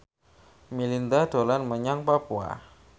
Melinda dolan menyang Papua